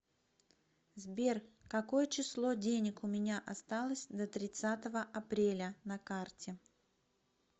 сбер какое число денег у меня осталось до тридцатого апреля на карте